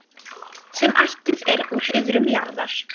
sem ættuð er úr iðrum jarðar.